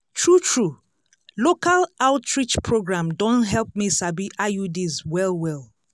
true true local outreach program don help me sabi iuds well well